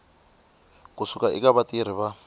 ku suka eka vatirhi va